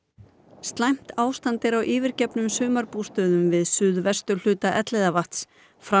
slæmt ástand er á yfirgefnum sumarbústöðum við suðvesturhluta Elliðavatns fram